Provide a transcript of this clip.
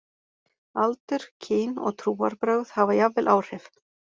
Aldur, kyn, og trúarbrögð hafa jafnvel áhrif.